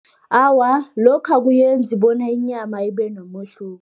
Awa, lokho akuyenzi bona inyama ibe nomehluko.